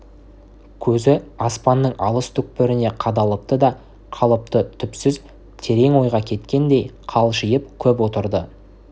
көзі аспанның алыс түкпіріне қадалыпты да қалыпты түпсіз терең ойға кеткендей қалшиып көп отырды